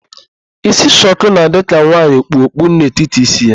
Ísí shuku na-adị ka nwaanyị e kpu okpu n'etiti ísí ya.